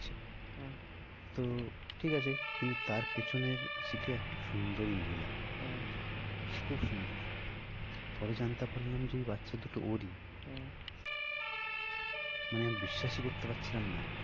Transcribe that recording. আহ তো ঠিক আছে কিন্তু তার পেছনের sit একটা সুন্দরি মহিলা হ্যাঁ খুব সুন্দর পরে জানতে পারলাম যে ওই বাচ্চা দুটো ওরই আহ মানে আমি বিশ্বাসই করতে পারছিলাম না